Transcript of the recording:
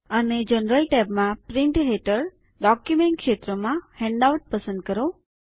અને જનરલ ટેબમાં પ્રિન્ટ હેઠળ ડોક્યુમેન્ટ ક્ષેત્રમાં હેન્ડઆઉટ પસંદ કરો